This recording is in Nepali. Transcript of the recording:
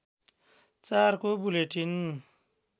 ४ को बुलेटिन